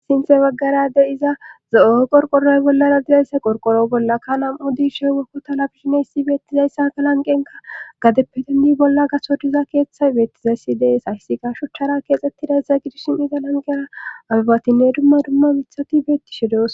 Sinthe baggara de iza zo'oy qorqooroy bollara dizayssa qorqoro bolla ka lam'u diishe wokko talabishineyssi beettizayssa ka lanqenka gadeppe dendi bolla gaso diza keeththay beettizayssi dees hayssi garshuchara keexxettiday za gidishin iza lanqera albatinne dumma dumma mithati beetti she doos.